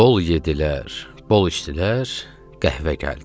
Bol yedlər, bol içdilər, qəhvə gəldi.